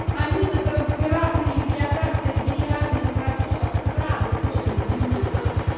аминотрансфераз и дилатация билиарных протоков сразу после приступа